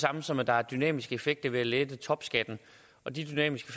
samme som at der er dynamiske effekter ved at lette topskatten og de dynamiske